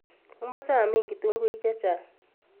Omoche amin kituguik chechang.